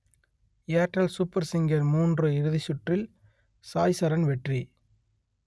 Airtel super singer மூன்று இறுதிச்சுற்றில் சாய்சரண் வெற்றி